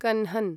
कन्हन्